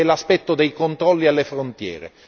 È l'aspetto dei controlli alle frontiere.